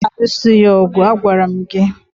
je alụso ya ọgụ. Agwara m gị!